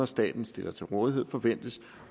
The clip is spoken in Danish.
staten stiller til rådighed forventes